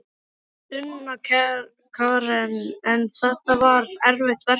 Sunna Karen: En var þetta erfitt verkefni?